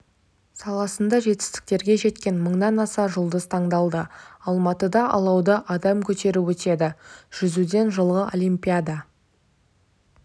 саласында жетістіктерге жеткен мыңнан аса жұлдыз таңдалды алматыда алауды адам көтеріп өтеді жүзуден жылғы олимпиада